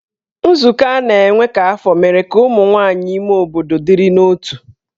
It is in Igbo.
Nzukọ a na-enwe kwa afọ mere ka ụmụ nwaanyị ime obodo dịrị n'otu.